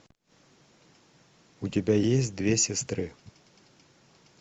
у тебя есть две сестры